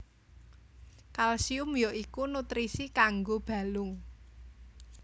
Kalsium ya iku nutrisi kanggo balung